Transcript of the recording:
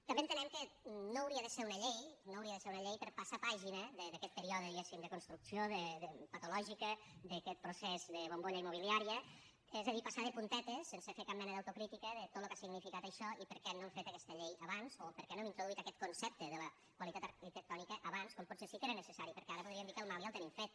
també entenem que no hauria de ser una llei no hauria de ser una llei per passar pàgina d’aquest període diguéssim de construcció patològica d’aquest procés de bombolla immobiliària és a dir passar de puntetes sense fer cap mena d’autocrítica de tot el que ha significat això i per què no han fet aquesta llei abans o per què no hem introduït aquest concepte de la qualitat arquitectònica abans quan potser sí que era necessari perquè ara podríem dir que el mal ja el tenim fet